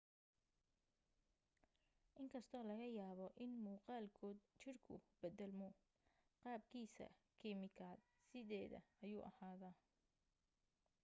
in kastoo laga yaabo in muuqaalkood jirku beddelmo qaabkiisa kiimikaad sideeda ayuu ahaadaa